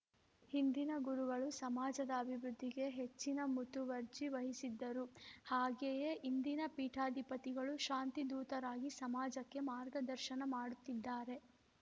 ಹಿಂದಿನ ಗುರುಗಳು ಸಮಾಜದ ಅಭಿವೃದ್ಧಿಗೆ ಹೆಚ್ಚಿನ ಮುತುವರ್ಜಿ ವಹಿಸಿದ್ದರು ಹಾಗೆಯೇ ಇಂದಿನ ಪೀಠಾಧಿಪತಿಗಳು ಶಾಂತಿ ಧೂತರಾಗಿ ಸಮಾಜಕ್ಕೆ ಮಾರ್ಗದರ್ಶನ ಮಾಡುತ್ತಿದ್ದಾರೆ